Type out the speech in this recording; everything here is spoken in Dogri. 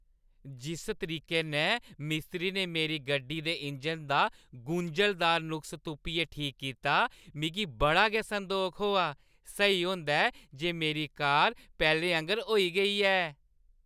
जिस तरीके नै मिस्त्री ने मेरी गड्डी दे इंजन दा गुंझलदार नुक्स तुप्पियै ठीक कीता, मिगी बड़ा गै संदोख होआ। सेही होंदा ऐ जे मेरी कार पैह्‌लें आंह्गर होई गेई ऐ।